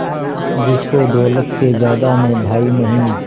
जिसको दौलत से ज्यादा मैं भाई नहीं